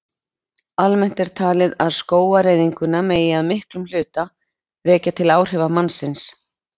Almennt er talið að skógaeyðinguna megi að miklum hluta rekja til áhrifa mannsins.